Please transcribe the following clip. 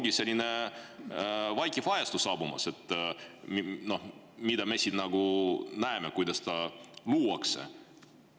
Nüüd ongi selline vaikiv ajastu saabumas, me siin näeme, kuidas seda luuakse.